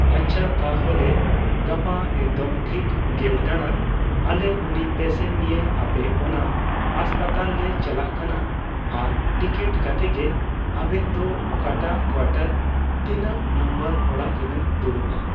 ᱟᱪᱪᱷᱟ ᱛᱟᱦᱞᱮ ᱜᱟᱯᱟ ᱮᱠᱫᱚᱢ ᱴᱷᱤᱠ ᱜᱮᱞ ᱛᱟᱲᱟᱝ , ᱟᱞᱮ ᱩᱱᱤ ᱯᱮᱥᱮᱱ ᱱᱤᱭᱮ ᱟᱯᱮ ᱚᱱᱟ ᱦᱟᱸᱥᱯᱟᱛᱟᱞ ᱞᱮ ᱪᱟᱞᱟᱜ ᱠᱟᱱᱟ ᱟᱨ ᱴᱤᱠᱤᱴ ᱠᱟᱛᱮᱜ ᱜᱮ ᱟᱵᱮᱱ ᱫᱚ ᱚᱠᱟᱴᱟᱜ ᱠᱳᱭᱟᱴᱟᱨ ᱛᱤᱱᱟᱹᱜ ᱱᱟᱢᱵᱟᱨ ᱚᱲᱟ ᱨᱮᱵᱮᱱ ᱫᱩᱲᱩᱵᱼᱟ ᱾